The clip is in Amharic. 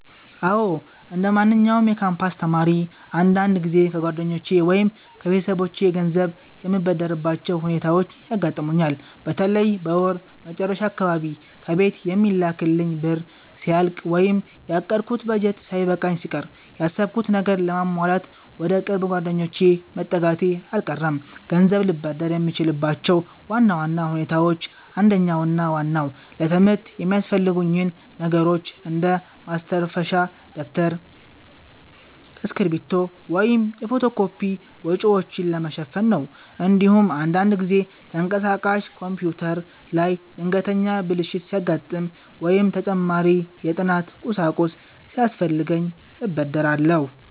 አዎ፣ እንደማንኛውም የካምፓስ ተማሪ አንዳንድ ጊዜ ከጓደኞቼ ወይም ከቤተሰቦቼ ገንዘብ የምበደርባቸው ሁኔታዎች ያጋጥሙኛል። በተለይ በወር መጨረሻ አካባቢ ከቤት የሚላክልኝ ብር ሲያልቅ ወይም ያቀድኩት በጀት ሳይበቃኝ ሲቀር፣ ያሰብኩትን ነገር ለማሟላት ወደ ቅርብ ጓደኞቼ መጠጋቴ አልቀረም። ገንዘብ ልበደር የምችልባቸው ዋና ዋና ሁኔታዎች አንደኛውና ዋናው ለትምህርት የሚያስፈልጉኝን ነገሮች እንደ ማስተንፈሻ ደብተር፣ እስክሪብቶ ወይም የፎቶ ኮፒ ወጪዎችን ለመሸፈን ነው። እንዲሁም አንዳንድ ጊዜ ተንቀሳቃሽ ኮምፒውተሬ ላይ ድንገተኛ ብልሽት ሲያጋጥም ወይም ተጨማሪ የጥናት ቁሳቁስ ሲያስፈልገኝ እበደራለሁ።